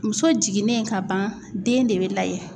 Muso jiginnen ka ban den de bɛ layɛ.